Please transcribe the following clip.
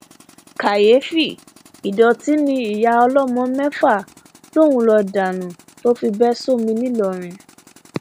kàyééfì ìdọtí ni ìyá ọlọmọ mẹfà lòún ń lọọ dànù tó fi bẹ sómi ńìlọrin